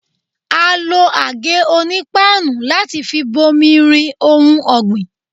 A lo àgé-onípáànù láti fi bomi-rin ohun ọ̀gbìn.